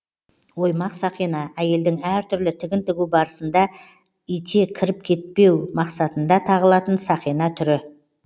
оймақ сақина әйелдің әр түрлі тігін тігу барысында ите кіріп кетпеу мақсатында тағылатын сақина түрі